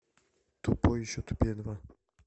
тупой и еще тупее два